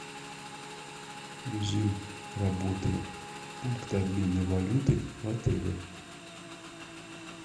режим работы пункта обмена валюты в отеле